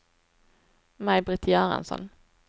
Maj-Britt Göransson